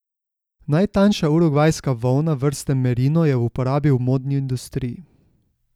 Najtanjša urugvajska volna vrste merino je v uporabi v modni industriji.